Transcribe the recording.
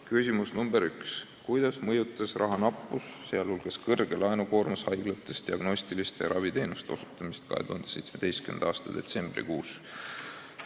Küsimus nr 1: "Kuidas mõjutas rahanappus, sh kõrge laenukoormus haiglates diagnostiliste ja raviteenuste osutamist 2017. aasta detsembrikuus?